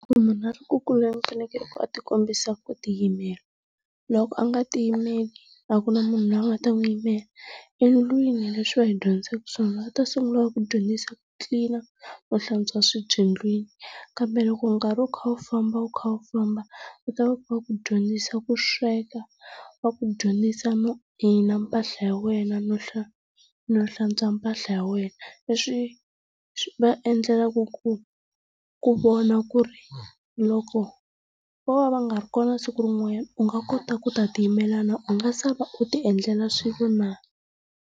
Munu a ri ku kuleli u fanekele ku a ti kombisa ku ti yimela. Loko a nga ti yimeli a ku na munhu loyi a nga ta n'wi yimela. Endlwini leswi va hi dyondzisaka swona va ta sungula va ku dyondzisa ku tlilina no hlantswa swibye endlwini, kambe loko nkarhi wu kha wu famba wu kha wu famba va ku dyondzisa ku sweka, va ku dyondzisa no ayina mpahla ya wena no no hlantswa mpahla ya wena. Leswi va endlelaka ku ku vona ku ri loko vo va va nga ri kona siku rin'wanyana u nga kota ku ta ti yimela na u nga sala u ti endlela swilo na?